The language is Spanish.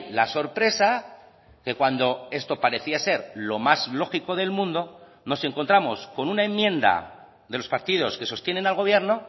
la sorpresa que cuando esto parecía ser lo más lógico del mundo nos encontramos con una enmienda de los partidos que sostienen al gobierno